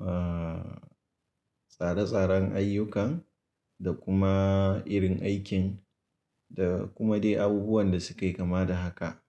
aa, tsare-tsaren ayyukan da kuma irin aikin da kuma dai abubuwan da suke kama da haka.